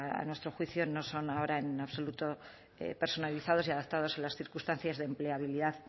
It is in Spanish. a nuestro juicio no son ahora en absoluto personalizados y adaptados a las circunstancias de empleabilidad